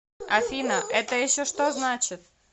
афина это еще что значит